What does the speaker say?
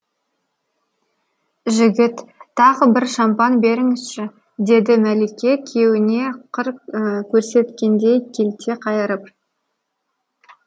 жігіт тағы бір шампан беріңізші деді мәлике күйеуіне қыр көрсеткендей келте қайырып